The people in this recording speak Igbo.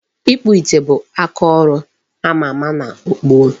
Ịkpụ ite bụ akaọrụ ama ama na gboo.